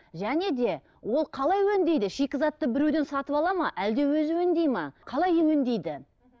және де ол қалай өңдейді шикізатты біреуден сатып алады ма әлде өзі өңдейді ме қалай өңдейді